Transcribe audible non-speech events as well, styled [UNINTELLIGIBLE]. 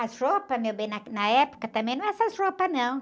As roupas, meu bem, na, [UNINTELLIGIBLE] na época também não era essas roupas, não.